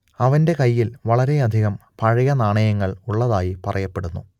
അവന്റെ കൈയ്യിൽ വളരെയധികം പഴയ നാണയങ്ങൾ ഉള്ളതായി പറയപ്പെടുന്നു